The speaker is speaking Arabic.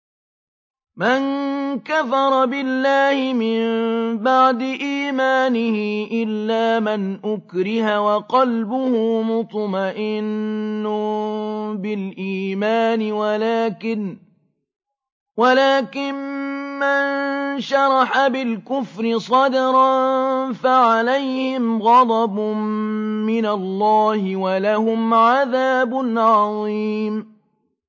مَن كَفَرَ بِاللَّهِ مِن بَعْدِ إِيمَانِهِ إِلَّا مَنْ أُكْرِهَ وَقَلْبُهُ مُطْمَئِنٌّ بِالْإِيمَانِ وَلَٰكِن مَّن شَرَحَ بِالْكُفْرِ صَدْرًا فَعَلَيْهِمْ غَضَبٌ مِّنَ اللَّهِ وَلَهُمْ عَذَابٌ عَظِيمٌ